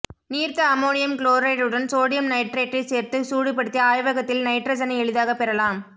நீர்த்த அமோனியம் குளோரைடுடன் சோடியம் நைட்ரைட்டைச் சேர்த்து சூடுபடுத்தி ஆய்வகத்தில் நைட்ரசனை எளிதாகப் பெறலாம்